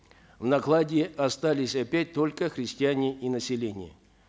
в накладе остались опять только крестьяне и население